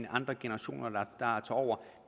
andre generationer der tager over